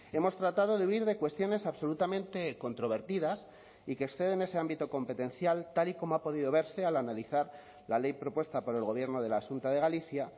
hemos tratado de huir de cuestiones absolutamente controvertidas y que exceden ese ámbito competencial tal y como ha podido verse al analizar la ley propuesta por el gobierno de la xunta de galicia